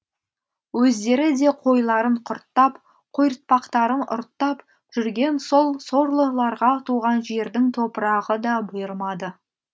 өздері де қойларын құрттап қойыртпақтарын ұрттап жүрген сол сорлыларға туған жердің топырағы да бұйырмады